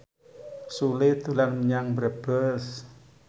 Sule dolan menyang Brebes